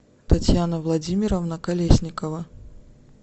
татьяна владимировна колесникова